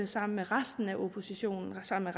sammen med resten af oppositionen og sammen